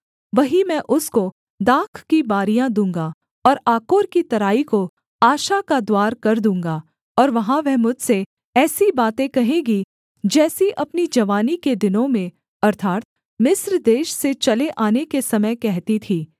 वहीं मैं उसको दाख की बारियाँ दूँगा और आकोर की तराई को आशा का द्वार कर दूँगा और वहाँ वह मुझसे ऐसी बातें कहेगी जैसी अपनी जवानी के दिनों में अर्थात् मिस्र देश से चले आने के समय कहती थी